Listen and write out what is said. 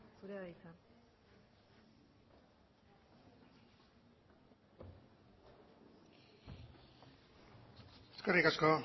zurea da hitza eskerrik asko